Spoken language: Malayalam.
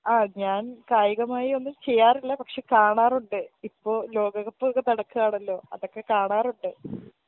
ആ ഞാൻ കായികമായിയൊന്നും ചെയ്യാറില്ല പക്ഷെ കാണാറുണ്ട് ഇപ്പൊ ലോകക്കപ്പ് ഒക്കെ നടക്കാണല്ലോ അതൊക്കെ കാണാറുണ്ട്